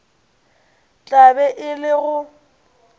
tla be e le go